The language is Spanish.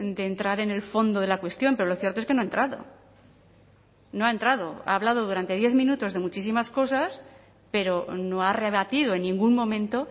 de entrar en el fondo de la cuestión pero lo cierto es que no ha entrado no ha entrado ha hablado durante diez minutos de muchísimas cosas pero no ha rebatido en ningún momento